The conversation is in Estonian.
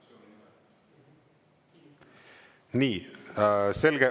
Nii, selge.